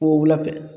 wula fɛ